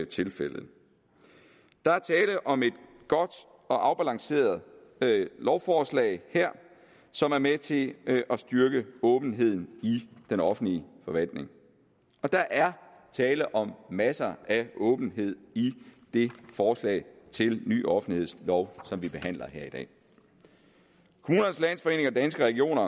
tilfældet der er tale om et godt og afbalanceret lovforslag her som er med til at styrke åbenheden i den offentlige forvaltning og der er tale om masser af åbenhed i det forslag til ny offentlighedslov som vi behandler her i dag kommunernes landsforening og danske regioner